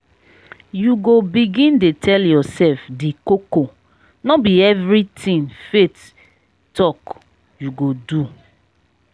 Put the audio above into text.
you go begin dey tell yoursef di koko no be everytin faith talk you go do.